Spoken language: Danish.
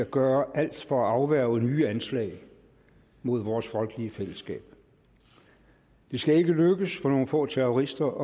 gøre alt for at afværge nye anslag mod vores folkelige fællesskab det skal ikke lykkes for nogle få terrorister